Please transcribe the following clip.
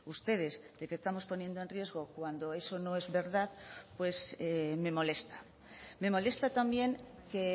ustedes de que estamos poniendo en riesgo cuando eso no es verdad pues me molesta me molesta también que